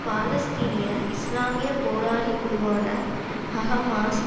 பாலஸ்தீனிய இஸ்லாமிய போராளி குழுவான ஹஹமாஸ்